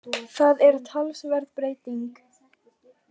Það er talsverð breyting